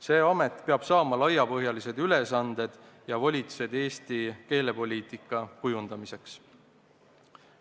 See amet peab saama laiapõhjalised ülesanded ja volitused Eesti keelepoliitika kujundamiseks.